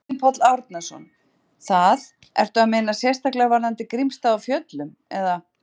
Árni Páll Árnason: Það, ertu að meina sérstaklega varðandi Grímsstaði á Fjöllum, eða?